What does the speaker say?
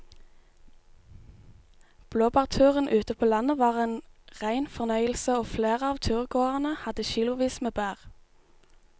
Blåbærturen ute på landet var en rein fornøyelse og flere av turgåerene hadde kilosvis med bær.